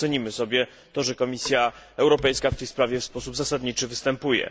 Bardzo cenimy sobie to, że Komisja Europejska w tej sprawie w sposób zasadniczy występuje.